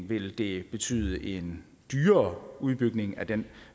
vil det betyde en dyrere udbygning af den